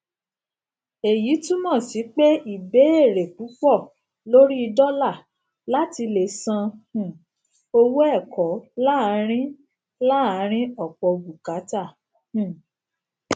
èyí túmọ sí pé ìbéèrè púpọ lórí dọlà láti lè san um owó ẹkọ láàárín láàárín ọpọ bùkátà um